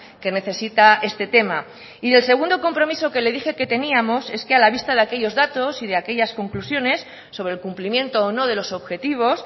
que necesita este tema y del segundo compromiso que le dije que teníamos es que a la vista de aquellos datos y de aquellas conclusiones sobre el cumplimiento o no de los objetivos